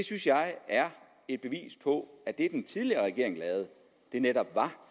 synes jeg er et bevis på at det den tidligere regering lavede netop var